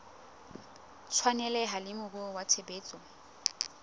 tshwaneleha le moruo wa tshebetso